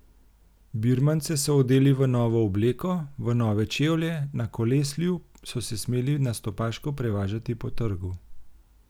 Birmance so odeli v novo obleko, v nove čevlje, na koleslju so se smeli nastopaško prevažati po trgu.